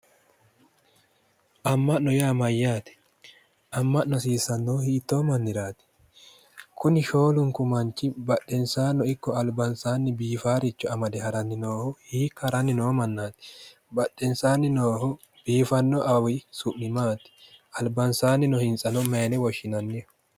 Amma'no yaa mayyaate? Amma'no hasiissannohu hiittoo manniraati? Kuni shoolunku manchi badhensaano ikko albasaanni biifaaricho amade haranni noohu hiikka haranni noo mannaati? Badheensaanni noohu biifanno awawi su'mi maati? Albansaanni no hintsano mayine woshshinanniho?